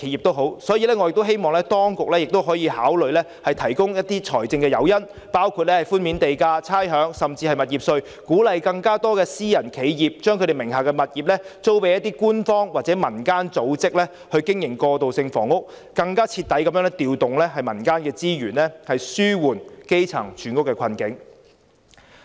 因此，我亦希望當局能考慮提供財政誘因，包括寬免地價、差餉，甚至是物業稅，鼓勵更多私人企業把其名下物業租予官方或民間組織經營過渡性房屋，更徹底地調動民間資源，以紓緩基層住屋的困境。